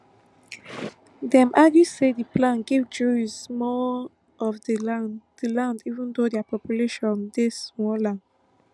dem argue say di plan give jews more of di land di land even though dia population dey smaller